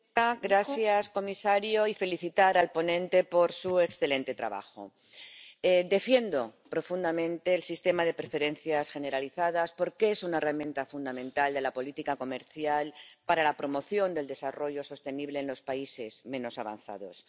Señora presidenta, gracias, señor comisario, y también quiero felicitar al ponente por su excelente trabajo. Defiendo profundamente el sistema de preferencias generalizadas porque es una herramienta fundamental de la política comercial para la promoción del desarrollo sostenible en los países menos avanzados.